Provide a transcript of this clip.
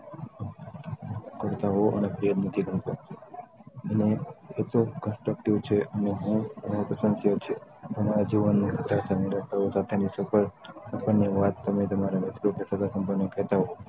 કરતા હો અને તે અને એટલું constructive છે અને બહુ પ્રસંસીયા છે તમારા જીવનની સાથે ની સફળતા ની વાત તમે તમારા મિત્રો કે સગા સંબંધી ને કેટ હો